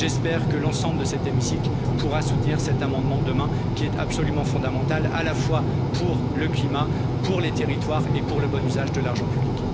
J'espère que l'ensemble de cet hémicycle pourra soutenir cet amendement demain, qui est absolument fondamental, à la fois pour le climat, pour les territoires et pour le bon usage de l'argent public.